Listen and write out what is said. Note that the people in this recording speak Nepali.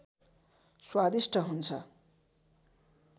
स्वादिष्ट हुन्छ